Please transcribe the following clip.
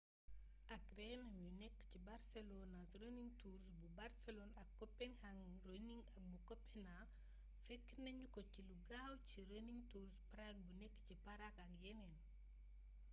ak reenam yu nekk ci barcelona's running tours bu barsëlon ak copenhagen's running bu kopena fekk nañu ko ci lo gaaw ci running tours prague bu nekk ci parag ak yeneen